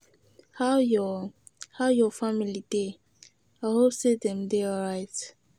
How your How your family dey? I hope say dem dey alright.